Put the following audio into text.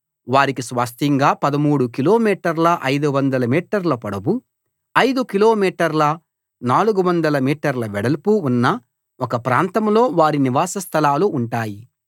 వారికి స్వాస్థ్యంగా 13 కిలోమీటర్ల 500 మీటర్ల పొడవు 5 కిలో మీటర్ల 400 మీటర్ల వెడల్పు ఉన్న ఒక ప్రాంతంలో వారి నివాస స్థలాలు ఉంటాయి